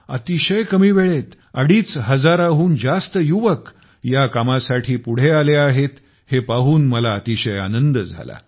अतिशय कमी वेळेत आधीच हजाराहून जास्त युवक या कामासाठी पुढे आले आहेत हे पाहून मला अतिशय आनंद झाला